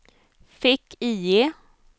fick-IE